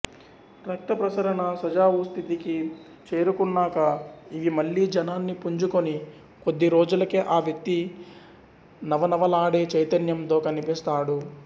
రక్తప్రసరణ సజావుస్థితికి చేరుకున్నాక ఇవి మళ్ళీ జవాన్ని పుంజుకొని కొద్ది రోజులకే ఆ వ్యక్తి నవనవలాడే చైతన్యంతో కనిపిస్తాడు